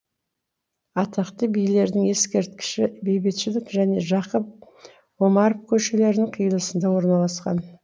атақты билердің ескерткіші бейбітшілік және жақып омаров көшелерінің қиылысында орналасқан